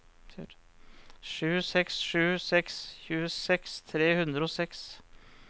sju seks sju seks tjueseks tre hundre og seks